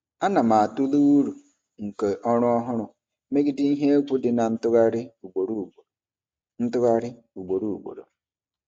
Ana m atụle uru nke ọrụ ọhụrụ megide ihe egwu dị na ntụgharị ugboro ugboro. ntụgharị ugboro ugboro.